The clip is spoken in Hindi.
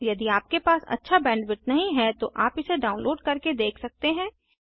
यदि आपके पास अच्छा बैंडविड्थ नहीं है तो आप इसे डाउनलोड करके देख सकते हैं